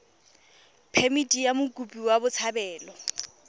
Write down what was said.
phemithi ya mokopi wa botshabelo